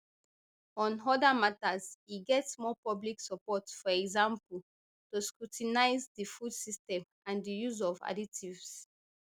on oda matters e get more public support for example to scrutinise di food system and di use of additives